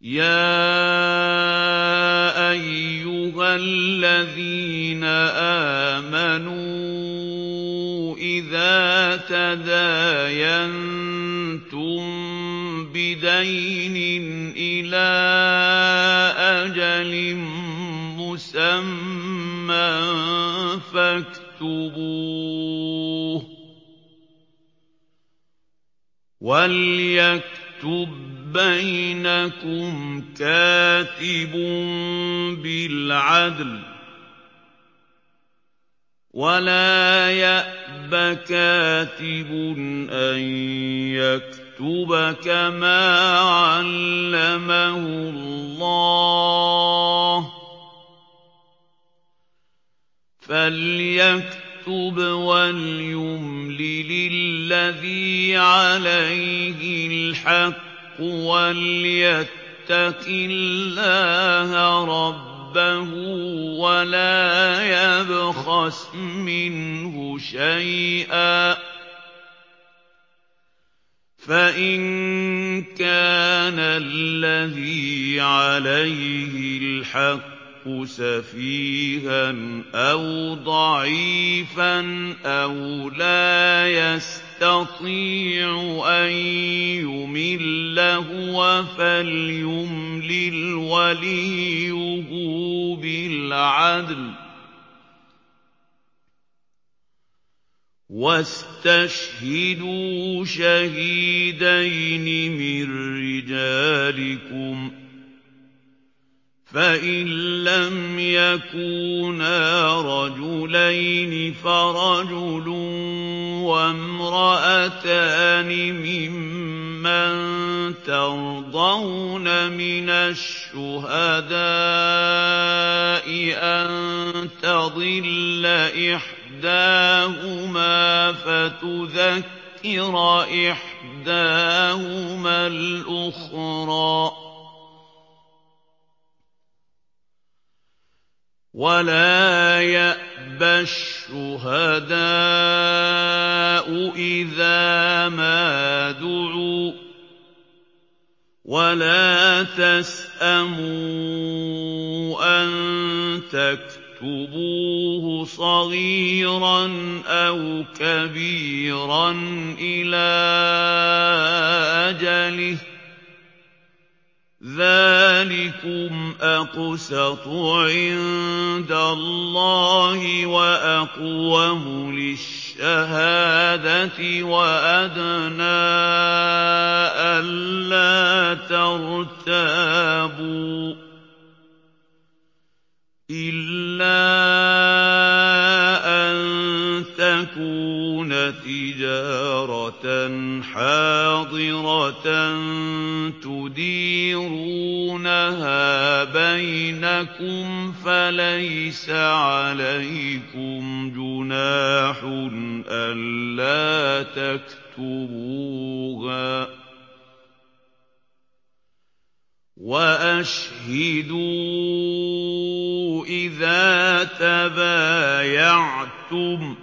يَا أَيُّهَا الَّذِينَ آمَنُوا إِذَا تَدَايَنتُم بِدَيْنٍ إِلَىٰ أَجَلٍ مُّسَمًّى فَاكْتُبُوهُ ۚ وَلْيَكْتُب بَّيْنَكُمْ كَاتِبٌ بِالْعَدْلِ ۚ وَلَا يَأْبَ كَاتِبٌ أَن يَكْتُبَ كَمَا عَلَّمَهُ اللَّهُ ۚ فَلْيَكْتُبْ وَلْيُمْلِلِ الَّذِي عَلَيْهِ الْحَقُّ وَلْيَتَّقِ اللَّهَ رَبَّهُ وَلَا يَبْخَسْ مِنْهُ شَيْئًا ۚ فَإِن كَانَ الَّذِي عَلَيْهِ الْحَقُّ سَفِيهًا أَوْ ضَعِيفًا أَوْ لَا يَسْتَطِيعُ أَن يُمِلَّ هُوَ فَلْيُمْلِلْ وَلِيُّهُ بِالْعَدْلِ ۚ وَاسْتَشْهِدُوا شَهِيدَيْنِ مِن رِّجَالِكُمْ ۖ فَإِن لَّمْ يَكُونَا رَجُلَيْنِ فَرَجُلٌ وَامْرَأَتَانِ مِمَّن تَرْضَوْنَ مِنَ الشُّهَدَاءِ أَن تَضِلَّ إِحْدَاهُمَا فَتُذَكِّرَ إِحْدَاهُمَا الْأُخْرَىٰ ۚ وَلَا يَأْبَ الشُّهَدَاءُ إِذَا مَا دُعُوا ۚ وَلَا تَسْأَمُوا أَن تَكْتُبُوهُ صَغِيرًا أَوْ كَبِيرًا إِلَىٰ أَجَلِهِ ۚ ذَٰلِكُمْ أَقْسَطُ عِندَ اللَّهِ وَأَقْوَمُ لِلشَّهَادَةِ وَأَدْنَىٰ أَلَّا تَرْتَابُوا ۖ إِلَّا أَن تَكُونَ تِجَارَةً حَاضِرَةً تُدِيرُونَهَا بَيْنَكُمْ فَلَيْسَ عَلَيْكُمْ جُنَاحٌ أَلَّا تَكْتُبُوهَا ۗ وَأَشْهِدُوا إِذَا تَبَايَعْتُمْ ۚ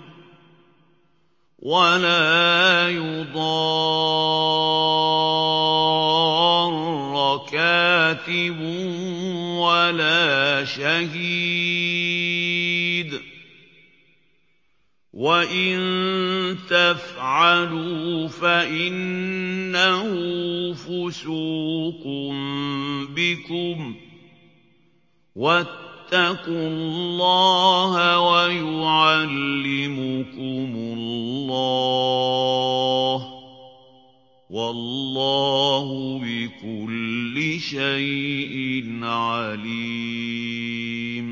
وَلَا يُضَارَّ كَاتِبٌ وَلَا شَهِيدٌ ۚ وَإِن تَفْعَلُوا فَإِنَّهُ فُسُوقٌ بِكُمْ ۗ وَاتَّقُوا اللَّهَ ۖ وَيُعَلِّمُكُمُ اللَّهُ ۗ وَاللَّهُ بِكُلِّ شَيْءٍ عَلِيمٌ